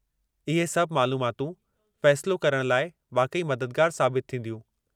इहे सभु मालूमातूं, फ़ैसिलो करणु लाइ वाक़ई मददगारु साबितु थींदियूं।